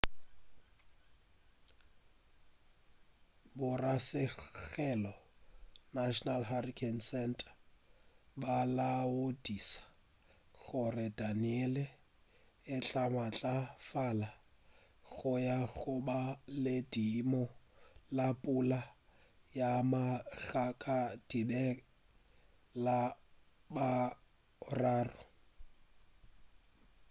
borasaentshego la national hurrican center ba laodiša gore danielle e tla matlafala go ya go ba ledimo la pula ya matlakadibe ka laboraro